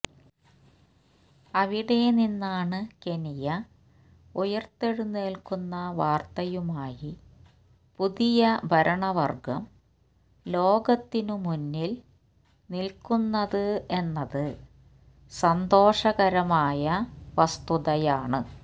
അവിടെ നിന്നാണ് കെനിയ ഉയർത്തെഴുന്നൽക്കുന്ന വാർത്തയുമായി പുതിയ ഭരണവർഗം ലോകത്തിനു മുന്നിൽ നിൽക്കുന്നത് എന്നത് സന്തോഷകരമായ വസ്തുതയാണ്